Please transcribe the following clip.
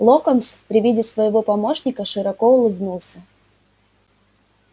локонс при виде своего помощника широко улыбнулся